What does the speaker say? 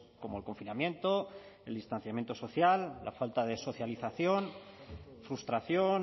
como el confinamiento el distanciamiento social la falta de socialización frustración